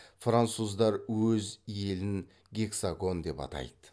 француздар өз елін гексагон деп атайды